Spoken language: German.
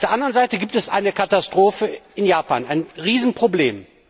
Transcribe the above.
Auf der anderen Seite gibt es eine Katastrophe in Japan, ein Riesenproblem.